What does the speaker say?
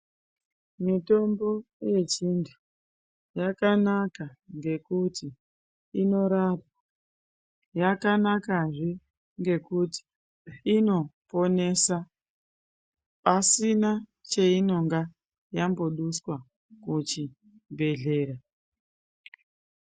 Mitombo yechindi yakanaka ngekuti inorapa, yakanakazve ngekuti inoponesa pasina cheinenge yamboduswa kuchibhedhleya.